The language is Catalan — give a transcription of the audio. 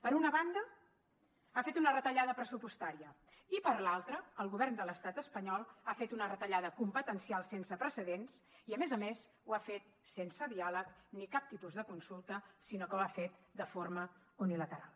per una banda ha fet una retallada pressupostària i per l’altra el govern de l’estat espanyol ha fet una retallada competencial sense precedents i a més a més ho ha fet sense diàleg ni cap tipus de consulta sinó que ho ha fet de forma unilateral